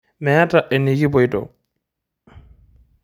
Meeta enikipoito.